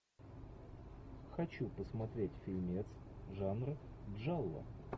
хочу посмотреть фильмец жанр джалло